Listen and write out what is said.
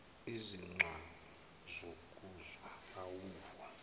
izigcawu zokuzwa uvo